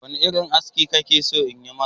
Wane irin aski kake so in yi maka?